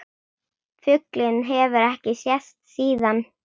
Fuglinn hefur ekki sést síðan.